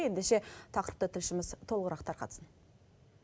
ендеше тақырыпты тілшіміз толығырақ тарқатсын